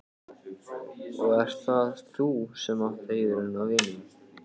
Og ert það þú sem átt heiðurinn af vinnunni?